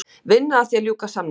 Vinna að því að ljúka samningum